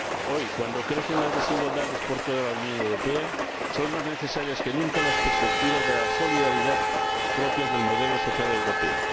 Hoy, cuando crecen las desigualdades por toda la Unión Europea, son más necesarias que nunca las perspectivas de la solidaridad propias del modelo social europeo.